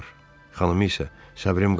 Xanımı isə: Səbrim qalmayıb.